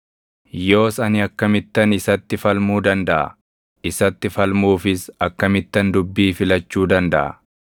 “Yoos ani akkamittan isatti falmuu dandaʼa? Isatti falmuufis akkamittan dubbii filachuu dandaʼa?